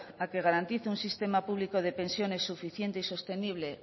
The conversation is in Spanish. a que garantice un sistema público de pensiones suficiente y sostenible